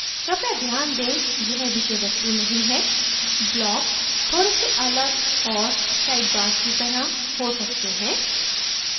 कृपया ध्यान दें यह विषय वस्तु नहीं है blocks थोड़े से अलग और sidebars की तरह हो सकते हैं